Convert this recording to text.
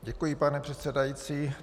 Děkuji, pane předsedající.